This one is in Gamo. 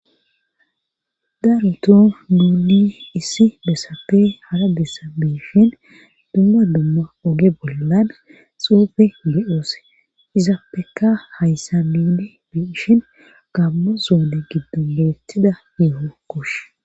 daaroto duuli issi besape hara dessa beishin dumma dumma oge bollan xuufe ge7oos izappeka hayssa miide beishin gambo zoone giddo boletida yeeho kosh